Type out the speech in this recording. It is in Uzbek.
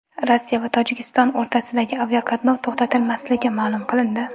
Rossiya va Tojikiston o‘rtasidagi aviaqatnov to‘xtatilmasligi ma’lum qilindi.